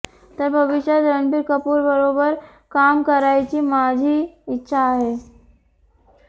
तर भविष्यात रणबीर कपूरबरोबर काम करायची माझी इच्छा आहे